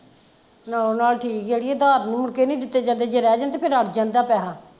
ਨਾਲੋਂ ਨਾਲ ਠੀਕ ਆ ਕ ਅਧਾਰ ਨਹੀਂ ਦਿੱਤੇ ਜਾਂਦੇ ਜੇ ਰਹਿ ਜਾਣ ਤਾਂ ਫਿਰ ਅੜ੍ਹ ਜਾਂਦਾ ਪੈਸਾ।